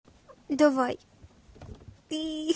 давай